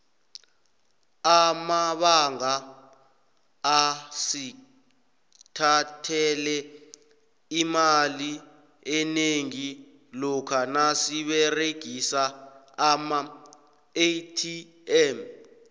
amabanga asithathele imali enengi lokha nasiberegisa amaatm